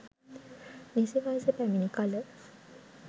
නිසි වයස පැමිණි කල